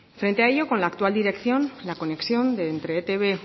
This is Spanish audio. frente a ello con la actual dirección la conexión de entre etb